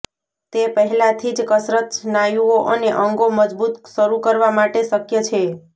તે પહેલાથી જ કસરત સ્નાયુઓ અને અંગો મજબૂત શરૂ કરવા માટે શક્ય છે